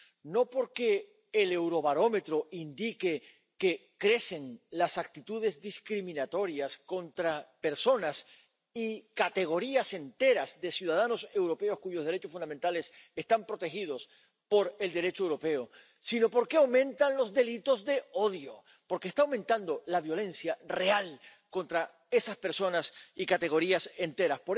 No porque el Eurobarómetro indique que crecen las actitudes discriminatorias contra personas y categorías enteras de ciudadanos europeos —cuyos derechos fundamentales están protegidos por el Derecho europeo—, sino porque aumentan los delitos de odio, porque está aumentando la violencia real contra esas personas y categorías enteras.